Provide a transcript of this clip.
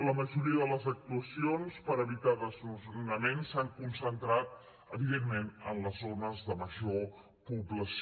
la majoria de les actuacions per evitar desnonaments s’han concentrat evidentment en les zones de major població